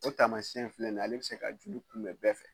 O taamasiyɛn filɛ nin ye ale bɛ se ka joli kunbɛn bɛɛ fɛ